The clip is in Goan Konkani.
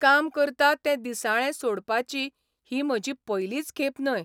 काम करता तें दिसाळें सोडपाची ही म्हजी पयलीच खेप न्हय.